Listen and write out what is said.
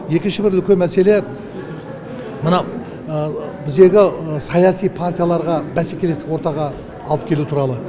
екінші бір үлкен мәселе мына біздегі саяси партияларға бәсекелестік ортаға алып келу туралы